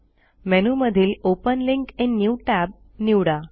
मेनूमधील open link in new tab निवडा